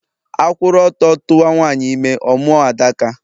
A kwuru ọtọ tuwa nwanyị ime, ọ mụọ Adaka